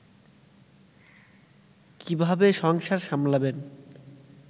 কিভাবে সংসার সামলাবেন